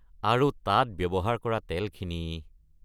আৰু তাত ব্যৱহাৰ কৰা তেলখিনি!